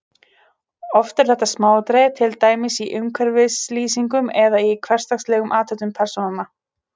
Oft eru þetta smáatriði, til dæmis í umhverfislýsingum eða í hversdagslegum athöfnum persónanna.